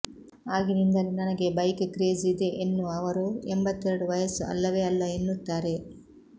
ಆಗಿನಿಂದಲೂ ನನಗೆ bike craze ಇದೆ ಎನ್ನುವ ಅವರು ಎಂಬತ್ತೆರಡು ವಯಸ್ಸು ಅಲ್ಲವೇ ಅಲ್ಲ ಎನ್ನುತ್ತಾರೆ